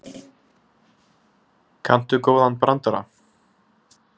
Kanntu góðan brandara?